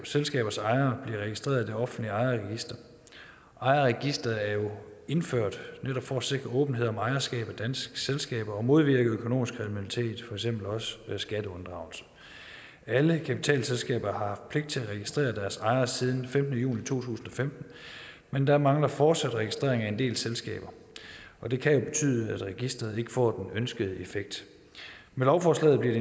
selskabers ejere bliver registreret i det offentlige ejerregister ejerregistreret er jo indført netop for at sikre åbenhed om ejerskab af danske selskaber og modvirke økonomisk kriminalitet eksempel også skatteunddragelse alle kapitalselskaber har haft pligt til at registrere deres ejere siden femtende juli to tusind og femten men der mangler fortsat registrering af en del selskaber det kan jo betyde at registret ikke får den ønskede effekt med lovforslaget bliver